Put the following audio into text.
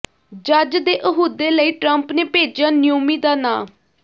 ਜੱਜ ਦੇ ਅਹੁਦੇ ਲਈ ਟਰੰਪ ਨੇ ਭੇਜਿਆ ਨਿਓਮੀ ਦਾ ਨਾਂ